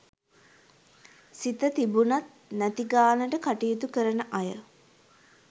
සිත තිබුණත් නැති ගානට කටයුතු කරන අය